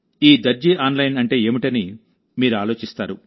ఈ దర్జీ ఆన్లైన్ అంటే ఏమిటని మీరు ఆలోచిస్తారు